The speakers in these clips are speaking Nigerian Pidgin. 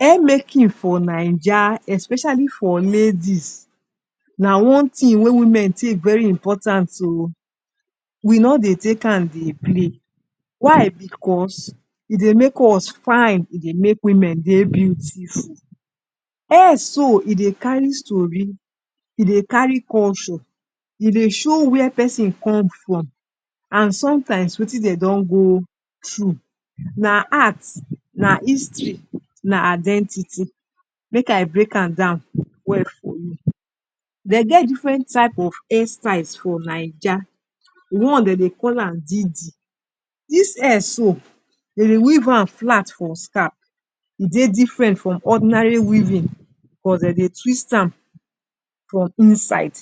Hairmaking for naija especially for ladies na one thing wey women take very important oo, we no dey take am dey play. Why? Because e dey make us fine, e dey make women dey beautiful. Hair so e dey carry story, e dey carry culture, e dey show where person come from and sometimes wetin dem don go through. Na arts, na history, na identity. Make I break am down well for you. Dey get different types of hairstyles for Naija. One dem dey call am didi. Dis hair so, dem dey weave am flat for scalp. E dey different from ordinary weaving dem dey twist am for inside.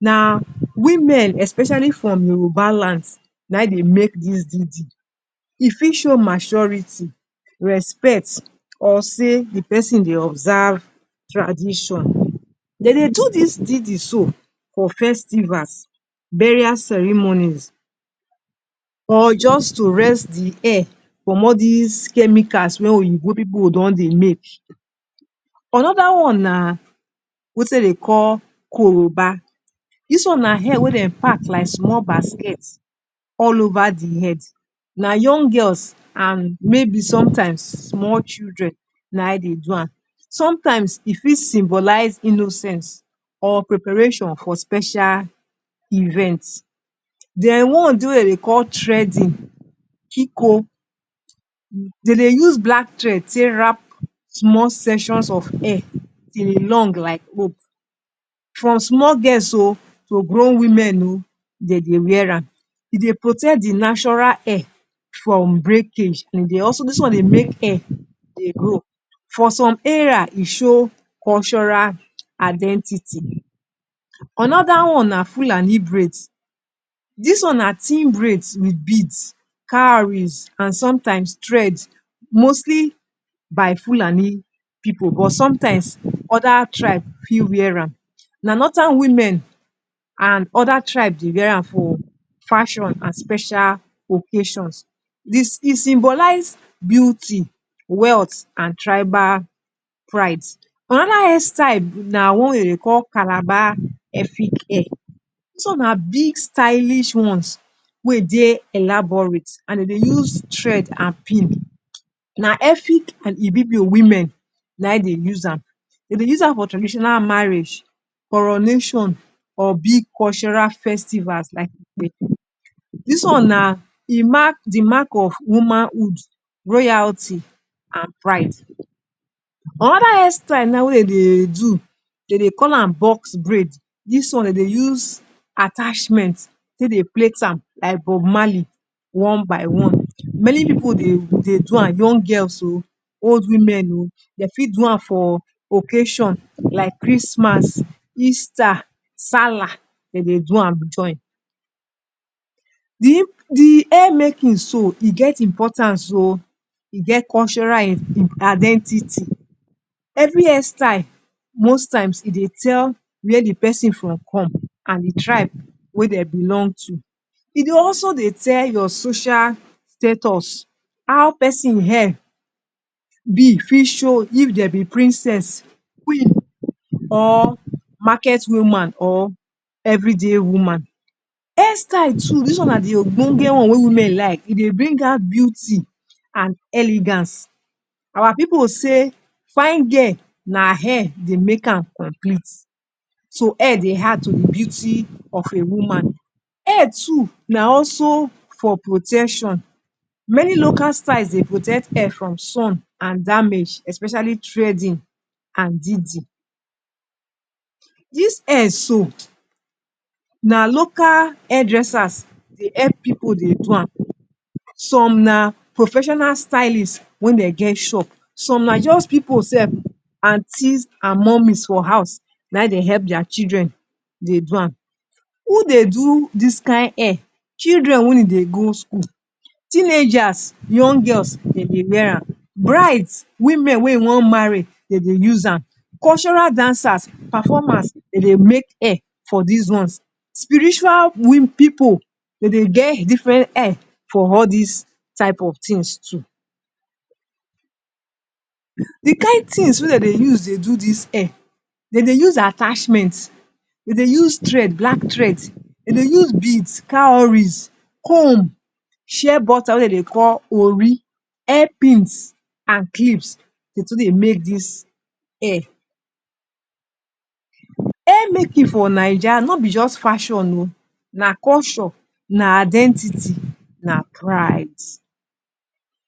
Na women especially from Yoruba land, na im dey make dis didi. E fit show maturity, respect or sey de person dey observe tradition. Dem dey do dis didi so for festivals, burial ceremonies or just to rest de hair from all dis chemicals wey oyibo pipu don dey make. Another one na wetin dem dey call Koroba. Dis one na hair wey dem pack like small basket all over de head. Na young girls and maybe sometimes small children na im dey do am. Sometimes e fit symbolize innocence or preparation for special event. Den one dey wey de dey call threading kiko Dem dey use black thread take wrap small sections of hair till e long like rope from small girls oo to grown women oo dem dey wear am. E dey protect de natural hair from breakage. And e dey also, dis one dey make hair dey grow. For some area e show cultural identity. Another one na Fulani braids. Dis one na thin braids wit beads, cowries and sometimes threads. Mostly by Fulani pipu but sometimes other tribe fit wear am. Na northern women and other tribe dey wear am for fashion and special occasions It symbolize beauty, wealth and tribal pride. Another hair style na one wey dem dey call Calabar/Efik hair. Dis one na big stylish ones wey e dey elaborate and de dey use thread and pin. Na Efik and Ibibio women na im dey use am. Dem dey use am for traditional marriage, coronation or big cultural festival like Dis one na, e mark de mark of womanhood, royalty and pride. Another hairstyle now wey dem dey do, dem dey call am box braid. Dis one dem dey use attachment take dey plait am like Bob Marley, one by one. Many pipu dey dey do am, young girls oo, old women oo. Dey fit do am for occasion like Christmas, Easter, Sallah; dem dey do am join. Di hairmaking so, e get importance oo, e get cultural identity. Every hairstyle most times e dey tell where de person from come and de tribe where dey belong to. E dey also dey tell your social status, how person hair be fit show if dem be princess, queen, or market woman or everyday woman. Hairstyle too dis na de ogbonge one wey women like, e dey bring out beauty and elegance. Our pipu go say fine girl na hair dey make am complete. So hair dey add to de beauty of a woman. Hair too na also for protection. Many local styles dey protect hair from sun and damage especially threading and didi. Dis hair so na local hairdressers dey help pipu dey do am. Some na professional stylists wey dem get shop. Some na just pipu sef; aunties and mummies for house na im dey help their children dey do am. Who dey do dis kain hair? Children wey e dey go school. Teenagers, young girls dem dey wear am. Brides, women wey e wan marry dem dey use am. Cultural dancers, performers dem dey make hair for dis ones. Spiritual pipu dem dey get different hair for all dis type of things too. De kain things wey dem dey use dey do dis hair. Dem dey use attachment, dem dey use thread; black thread, dem dey use beads, cowries, comb, shea butter wey dem dey call ori, hair pins, and clips dey too dey make dis hair. Hairmaking for Naija no be just fashon oo, na culture na identity, na pride.